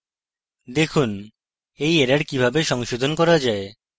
দেখুন এই error কিভাবে সংশোধন করা যায়